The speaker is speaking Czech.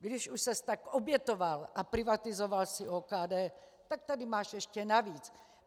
Když už ses tak obětoval a privatizoval jsi OKD, tak tady máš ještě navíc.